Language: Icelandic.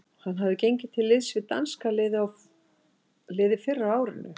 Hann hafði gengið til liðs við danska liðið fyrr á árinu.